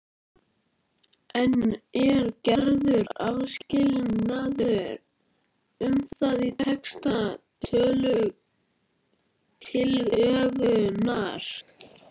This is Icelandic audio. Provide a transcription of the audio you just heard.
En er gerður áskilnaður um það í texta tillögunnar?